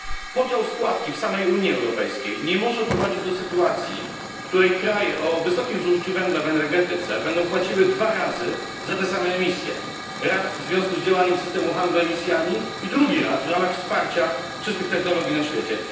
Podział składki w samej Unii Europejskiej nie może prowadzić do sytuacji, w której kraje o wysokim zużyciu węgla w energetyce będą płaciły dwa razy za te same emisje raz w związku z działaniem systemu handlu emisjami i drugi raz w ramach wsparcia czystych technologii na świecie.